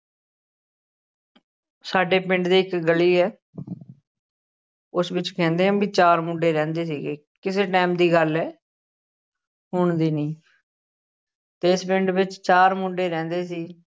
ਸਾਡੇ ਪਿੰਡ ਦੀ ਇੱਕ ਗਲੀ ਹੈ ਉਸ ਵਿੱਚ ਕਹਿੰਦੇ ਆ ਵੀ ਚਾਰ ਮੁੰਡੇ ਰਹਿੰਦੇ ਸੀਗੇ ਕਿਸੇ time ਦੀ ਗੱਲ ਹੈ ਹੁਣ ਦੀ ਨਹੀਂ ਤੇ ਇਸ ਪਿੰਡ ਵਿੱਚ ਚਾਰ ਮੁੰਡੇ ਰਹਿੰਦੈ ਸੀ।